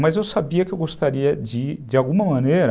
Mas eu sabia que eu gostaria de, de alguma maneira,